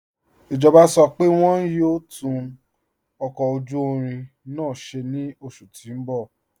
Ijọba sọ pé wọn yọ̀ò tún ọkọ ojú irin náà ṣẹ̀ ni oṣù tí n bọ̀.